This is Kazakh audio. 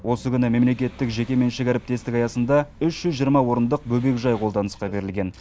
осы күні мемлекеттік жекеменшік әріптестік аясында үш жүз жиырма орындық орындық бөбекжай қолданысқа берілген